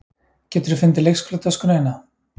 Geturðu fundið leikskólatöskuna þína?